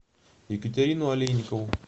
екатерину олейникову